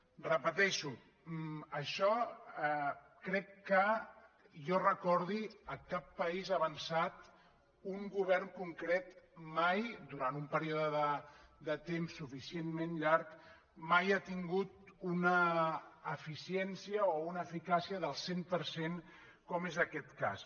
ho repeteixo això crec que que jo recordi a cap país avançat un govern concret mai durant un període de temps suficientment llarg ha tingut una eficiència o una eficàcia del cent per cent com és aquest cas